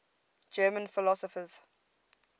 german philosophers